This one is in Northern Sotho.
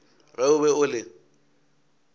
ge o be o le